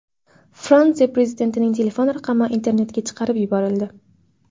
Fransiya prezidentining telefon raqami internetga chiqarib yuborildi.